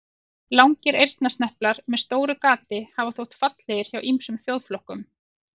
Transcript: Langir eyrnasneplar með stóru gati hafa þótt fallegir hjá ýmsum þjóðflokkum.